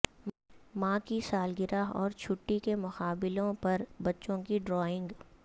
ماں کی سالگرہ اور چھٹی کے مقابلوں پر بچوں کی ڈرائنگ